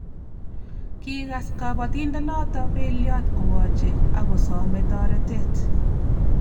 Kikas kabatindenoto beliot "kowoche" akosome toretet